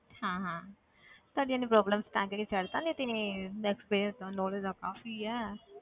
ਹਾਂ ਹਾਂ ਤੁਹਾਡੀ ਇੰਨੀ problem ਤਾਂ ਕਰਕੇ ਛੱਡ ਦਿੱਤਾ ਨਹੀਂ ਤੇ experience ਤਾਂ knowledge ਤਾਂ ਕਾਫ਼ੀ ਹੈ